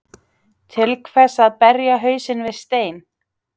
Til hvers að berja hausnum við stein?